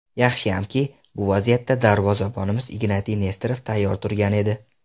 Yaxshiyamki, bu vaziyatda darvozabonimiz Ignatiy Nesterov tayyor turgan edi.